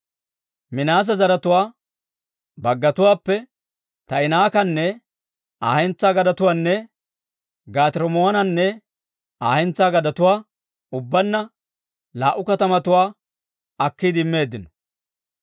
Minaase zaratuwaa baggatuwaappe Taa'inaakkanne Aa hentsaa gadetuwaanne Gaate-Rimmoonanne Aa hentsaa gadetuwaa, ubbaanna laa"u katamatuwaa akkiide immeeddino.